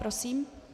Prosím.